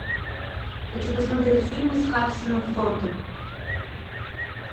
хочу посмотреть фильмы с харрисоном фордом